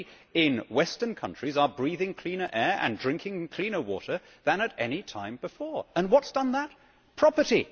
We in the West are breathing cleaner air and drinking cleaner water than at any time before. And what has done that? Property.